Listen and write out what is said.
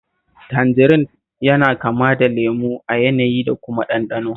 Tanjarin yana kama da lemo a yanayi da kuma ɗanɗano